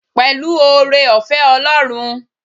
Pẹ̀lú oore-ọ̀fẹ́ Ọlọ́run.